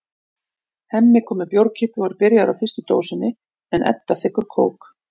Hemmi kom með bjórkippu og er byrjaður á fyrstu dósinni en Edda þiggur kók.